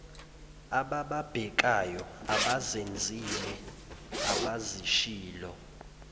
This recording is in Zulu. abababhekayo abazenzile abazishilo